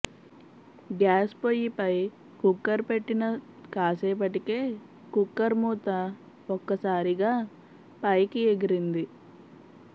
gas పొయ్యిపై cooker పెట్టిన కాసేపటికే కుక్కర్ మూత ఒక్కసారిగా పైకి ఎగిరింది